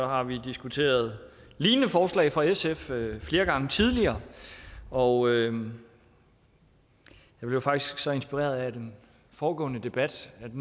har vi diskuteret lignende forslag fra sf flere gange tidligere og jeg blev faktisk så inspireret af den foregående debat at